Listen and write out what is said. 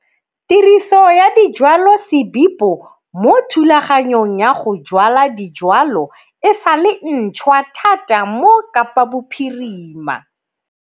Tiriso ya dijwalosebipo mo thulaganyong ya go jwala dijwalwa e sa le ntshwa thata mo Kapabophirimahe.